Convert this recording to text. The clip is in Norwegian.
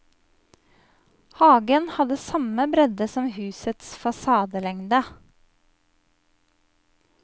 Hagen hadde samme bredde som husets fasadelengde.